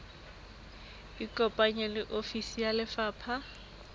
ikopanye le ofisi ya lefapha